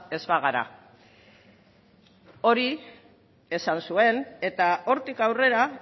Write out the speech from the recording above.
ez bagara hori esan zuen eta hortik aurrera